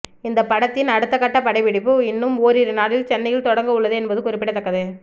இந்த படத்தின் அடுத்தகட்ட படப்பிடிப்பு இன்னும் ஓரிரு நாளில் சென்னையில் தொடங்க உள்ளது என்பது குறிப்பிடத்தக்கது